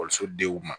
Ekɔliso denw ma